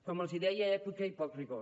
com els deia èpica i poc rigor